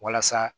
Walasa